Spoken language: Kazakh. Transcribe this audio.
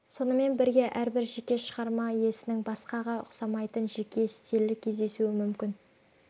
сонымен бірге әрбір жеке шығарма иесінің басқаға ұқсамайтын жеке стилі кездесуі мүмкін